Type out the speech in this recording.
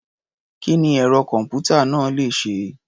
Kí ni ẹ̀rọ-kọ̀m̀pútà náà le ṣe?